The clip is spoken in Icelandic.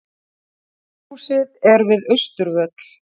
Alþingishúsið við Austurvöll.